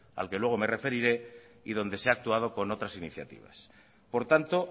al que luego me referiré y donde se ha actuado con otras iniciativas por tanto